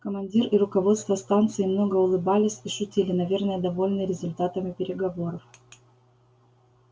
командир и руководство станции много улыбались и шутили наверное довольные результатами переговоров